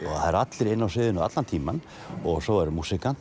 það eru allir inni á sviðinu allan tímann og svo er